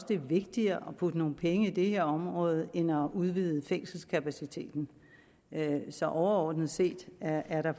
det er vigtigere at putte nogle penge i det her område end at udvide fængselskapaciteten så overordnet set er er der